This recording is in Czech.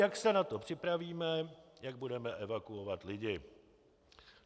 Jak se na to připravíme, jek budeme evakuovat lidi.